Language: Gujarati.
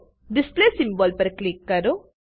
ડિસ્પ્લે સિમ્બોલ પર ક્લિક કરો